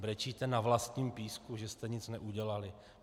Brečíte na vlastním písku, že jste nic neudělali.